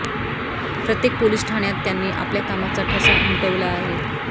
प्रत्येक पोलिस ठाण्यात त्यांनी आपल्या कामाचा ठसा उमटवला आहे